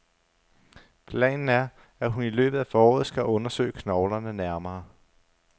Planen er, at hun i løbet af foråret skal undersøge knoglerne nærmere.